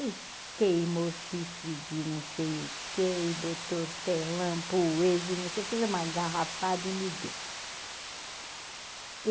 E queimou chifre de, não sei o que, botou hortelã, poejo e, não sei, fez uma garrafada e me deu.